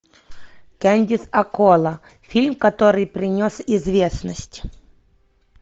кэндис аккола фильм который принес известность